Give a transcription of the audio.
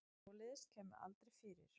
Svoleiðis kæmi aldrei fyrir.